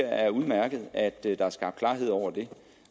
er udmærket at der er blevet skabt klarhed over det